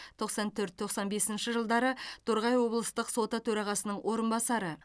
тоқсан төрт тоқсан бесінші жылдары торғай облыстық соты төрағасының орынбасары